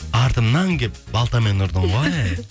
артымнан келіп балтамен ұрдың ғой ей